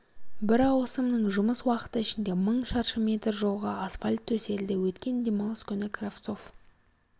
бір ауысымның жұмыс уақыты ішінде мың шаршы метр жолға асфальт төселді өткен демалыс күні кравцов